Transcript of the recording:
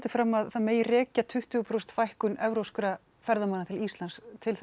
fram að það megi rekja tuttugu prósent fækkun evrópskra ferðamanna til Íslands til